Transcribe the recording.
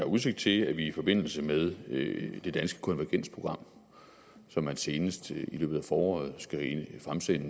udsigt til at vi i forbindelse med det danske konvergensprogram som man senest i løbet af foråret